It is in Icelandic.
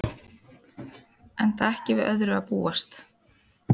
Enda ekki við öðru að búast